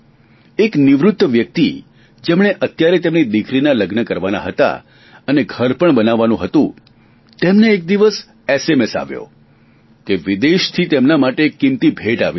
એક નિવૃત વ્યક્તિ જેમણે અત્યારે તેમની દિકરીના લગ્ન કરવાના હતા અને ઘર પણ બનાવવાનું હતું તેમને એક દિવસ એસએમએસ આવ્યો કે વિદેશથી તેમના માટે એક કિમતી ભેટ આવી છે